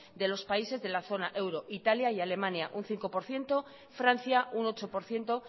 de los países de la zona euro italia y alemania un cinco por ciento francia un ocho por ciento